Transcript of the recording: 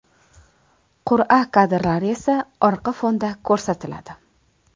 Qur’a kadrlari esa orqa fonda ko‘rsatiladi.